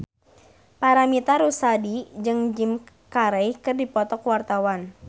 Paramitha Rusady jeung Jim Carey keur dipoto ku wartawan